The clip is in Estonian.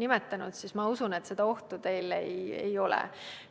nimetanud, siis ma usun, et seda ohtu teile ei ole.